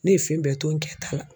Ne ye fɛn bɛɛ to n kɛ ta la.